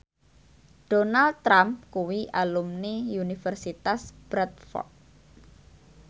Donald Trump kuwi alumni Universitas Bradford